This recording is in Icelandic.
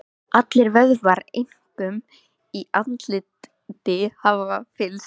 Allir vöðvar, einkum í andliti, hafa fyllst.